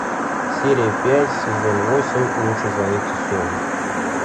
серия пять сезон восемь лучше звоните солу